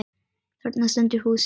Þarna stendur húsið.